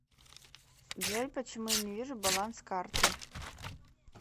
джой почему я не вижу баланс карты